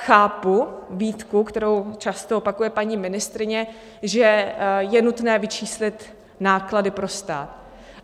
Chápu výtku, kterou často opakuje paní ministryně, že je nutné vyčíslit náklady pro stát.